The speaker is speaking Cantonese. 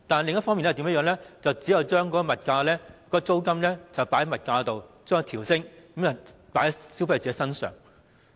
另一做法是把租金加幅計入售價，把售價調升，將加幅轉嫁到消費者身上。